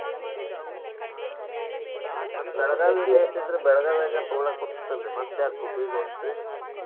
ಹ್ಮ್ ಮತ್ತ Belagavi ಬೆಶ್ ಇದ್ರ Belagavi ಯಾಗ ತೂಗೋಳಾಕ ಬರ್ತೆತಿ ಅಲ್ರಿ ಮತ್ತ್ ಯಾಕ್ Hubli ಗ್ ಹೊಂಟ್ರಿ?